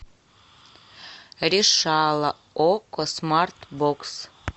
решала окко смарт бокс